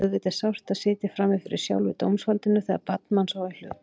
Auðvitað er sárt að sitja frammi fyrir sjálfu dómsvaldinu þegar barn manns á í hlut.